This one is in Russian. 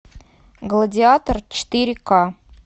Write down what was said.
гладиатор четыре ка